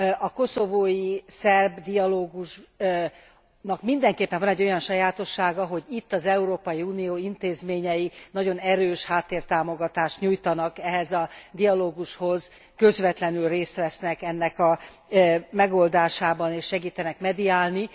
A koszovói szerb dialógusnak mindenképpen van egy olyan sajátossága, hogy itt az Európai Unió intézményei nagyon erős háttértámogatást nyújtanak ehhez a dialógushoz, közvetlenül részt vesznek ennek a megoldásában, és segítenek mediálni.